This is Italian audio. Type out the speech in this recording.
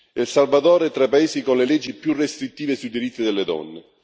El Salvador è tra i paesi con le leggi più restrittive sui diritti delle donne.